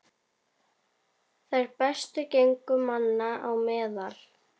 Þær bestu gengu manna á meðal.